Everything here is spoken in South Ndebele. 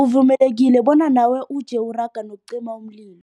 Uvumelekile bonyana nawe uje uraga nokucima umlilo.